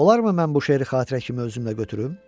Olarmı mən bu şeiri xatirə kimi özümlə götürüm?